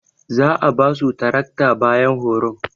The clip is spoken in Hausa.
Za'a basu tarakta bayan horon.